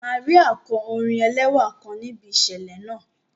Màríà kọ orin ẹlẹ́wà kan níbi ìṣẹ̀lẹ̀ náà